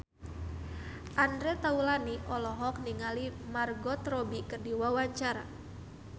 Andre Taulany olohok ningali Margot Robbie keur diwawancara